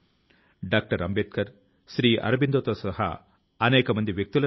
ఇందులో సాంకేతికత యొక్క బోలెడంత సహాయాన్ని కూడా పొందవచ్చును